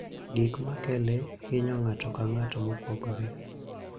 Gik ma kele hinyo ng'ato ka ng'ato mopogore.